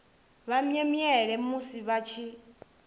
vha mwemwele musi vha tshi